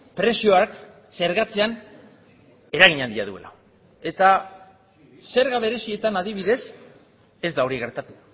prezioak zergatzean eragin handia duela eta zerga berezietan adibidez ez da hori gertatu